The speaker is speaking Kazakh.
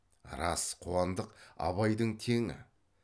рас қуандық абайдың теңі